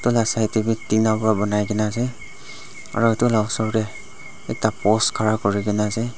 side te toh tina para banaikene ase aru etu la osor te ekta post khara kuri kena ase.